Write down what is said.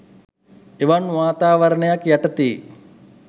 එවන් වාතාවරණයක් යටතේ